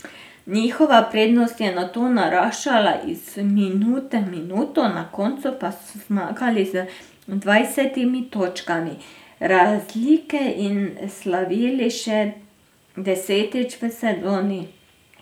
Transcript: Njihova prednost je nato naraščala iz minute v minuto, na koncu pa so zmagali z dvajsetimi točkami razlike in slavili še desetič v sezoni.